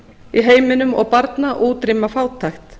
í heiminum og barna og útrýma fátækt